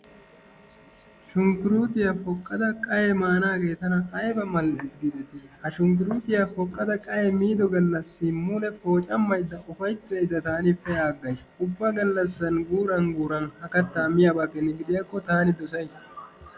Shunkuruutiyaa poqqada qayye manaagee tana ayba mal'es giidetii! Ha shunkkuruutiyaa poqqada qayye miido galassi mule poocamaydda ufayttaydda taani pe'agays. Ubba gallasan guuran guuran ha katta taani miyaaba keeni gidiyaakko tani dosays.